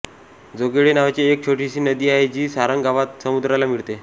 जोगेळे नावाची एक छोटी नदी आहे जी सारंग गावात समुद्राला मिळते